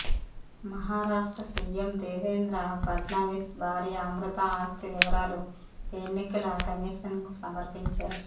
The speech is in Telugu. మహారాష్ట్ర సీఎం దేవేంద్ర ఫడ్నవిస్ భార్య అమృతా ఆస్తి వివరాలు ఎన్నికల కమిషన్ కు సమర్పించారు